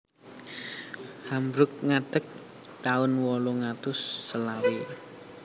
Hamburg ngadeg taun wolung atus selawe